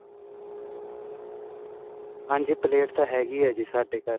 ਹਾਂਜੀ ਪਲੇਟ ਤਾਂ ਹੈਗੀ ਏ ਜੀ ਸਾਡੇ ਘਰ